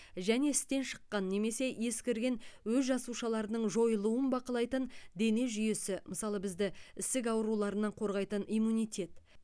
және істен шыққан немесе ескірген өз жасушаларының жойылуын бақылайтын дене жүйесі мысалы бізді ісік ауруларынан қорғайтын иммунитет